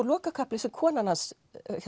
lokakaflinn sem konan hans